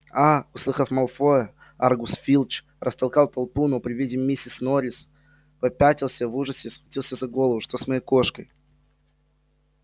а услыхав малфоя аргус филч растолкал толпу но при виде миссис норрис попятился в ужасе схватился за голову что с моей кошкой